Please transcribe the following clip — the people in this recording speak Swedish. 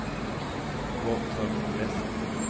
Gotthard Vestlund